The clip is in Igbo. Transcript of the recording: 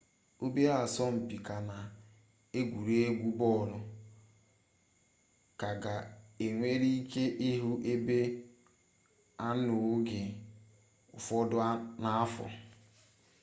obere asọmpi ga na egwuregwu bọlụ ga ka e nwere ike ịhụ ebe a n'oge ụfọdụ n'afọ